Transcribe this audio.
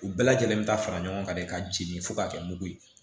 U bɛɛ lajɛlen bɛ taa fara ɲɔgɔn kan de ka jigin fo ka kɛ mugu ye